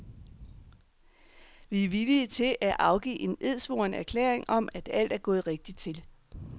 Vi er villige til at afgive en edsvoren erklæring om at alt er gået rigtigt til.